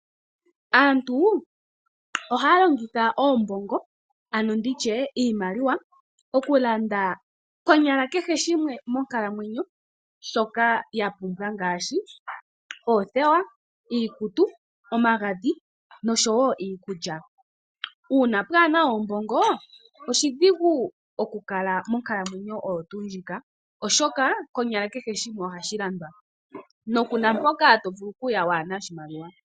Aantu ohaya longitha iimaliwa okulanda konyala kehe shimwe monkalamwenyo shoka ya pumbwa ngaashi oothewa ,iikutu ,omagadhi noshowo iikulya. Uuna kapena oombongo oshidhigu okukala monkalamwenyo oyo tuu ndjika oshoka konyala kehe shimwe ohashi landwa no kunampoka tovulu okuya kuna oshimaliwa.